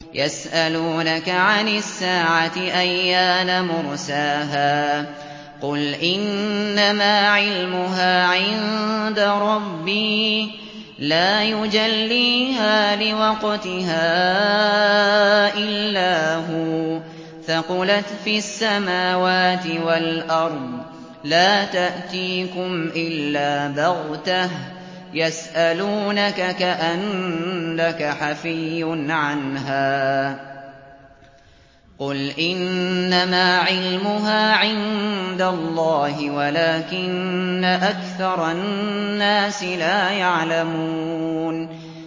يَسْأَلُونَكَ عَنِ السَّاعَةِ أَيَّانَ مُرْسَاهَا ۖ قُلْ إِنَّمَا عِلْمُهَا عِندَ رَبِّي ۖ لَا يُجَلِّيهَا لِوَقْتِهَا إِلَّا هُوَ ۚ ثَقُلَتْ فِي السَّمَاوَاتِ وَالْأَرْضِ ۚ لَا تَأْتِيكُمْ إِلَّا بَغْتَةً ۗ يَسْأَلُونَكَ كَأَنَّكَ حَفِيٌّ عَنْهَا ۖ قُلْ إِنَّمَا عِلْمُهَا عِندَ اللَّهِ وَلَٰكِنَّ أَكْثَرَ النَّاسِ لَا يَعْلَمُونَ